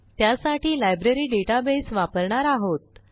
त्यासाठी library database वापरणार आहोत